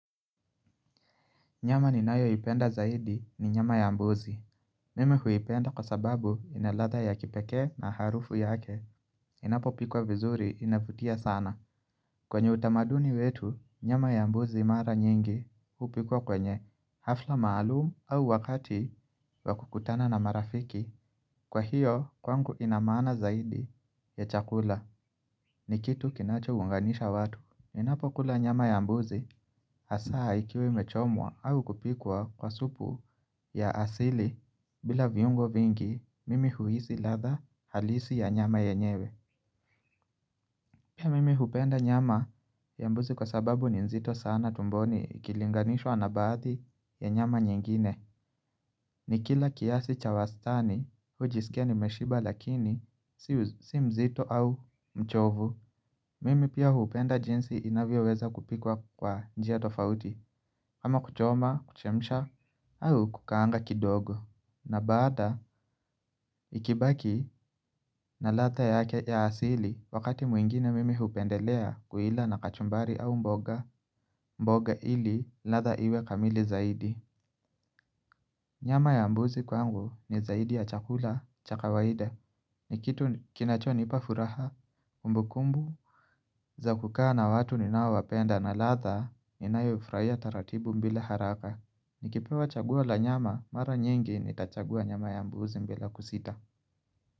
Nyama ninayoipenda zaidi, ni nyama ya mbuzi. Mimi huipenda kwa sababu ina ladha ya kipekee na harufu yake. Inapo pikwa vizuri inavutia sana. Kwenye utamaduni wetu, nyama ya mbuzi mara nyingi hupikwa kwenye hafla maalumu au wakati wa kukutana na marafiki. Kwa hiyo, kwangu ina maana zaidi ya chakula. Ni kitu kinachounganisha watu. Ninapo kula nyama ya mbuzi, hasa ikiwa imechomwa au kupikwa kwa supu ya asili bila viungo vingi mimi huhisi ladha halisi ya nyama yenyewe Pia mimi hupenda nyama ya mbuzi kwa sababu ni nzito sana tumboni ikilinganishwa na baadhi ya nyama nyingine ni kila kiasi cha wastani hujisikia nimeshiba lakini si mzito au mchovu Mimi pia hupenda jinsi inavyoweza kupikwa kwa njia tofauti ama kuchoma, kuchemsha au kukaanga kidogo na baada ikibaki na ladha yake ya asili. Wakati mwingine mimi hupendelea kuila na kachumbari au mboga. Mboga ili ladha iwe kamili zaidi Nyama ya mbuzi kwangu ni zaidi ya chakula cha kawaida ni kitu kinachonipa furaha, kumbukumbu, za kukaa watu ninaowapenda na ladha inayo ifurahia taratibu bila haraka Nikipewa chaguo la nyama, mara nyingi nitachagua nyama ya mbuzi bila kusita.